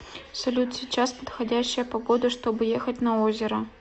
салют сейчас подходящая погода чтобы ехать на озеро